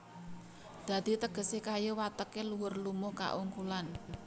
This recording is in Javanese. Dadi tegesé kayu wateké luhur lumuh kaungkulan